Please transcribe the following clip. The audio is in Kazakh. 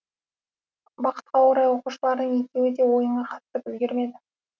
бақытқа орай оқушылардың екеуі де ойынға қатысып үлгермеді